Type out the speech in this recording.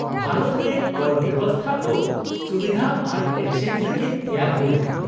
-ᱵᱷᱟᱨᱚᱛ ᱨᱮ ᱠᱚᱨ ᱵᱮᱵᱚᱥᱛᱷᱟ ᱫᱚ ᱥᱩᱵᱤᱫᱷᱟ ᱟᱨ ᱮᱠᱥᱮᱥ ᱞᱟᱹᱜᱤᱫ ᱛᱮᱭᱟᱨ ᱦᱩᱭ ᱟᱠᱟᱱᱟ ᱾